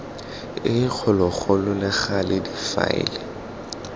e kgologolo le gale difaele